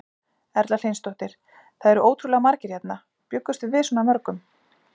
Erla Hlynsdóttir: Það eru ótrúlega margir hérna, bjuggust þið við svona mörgum?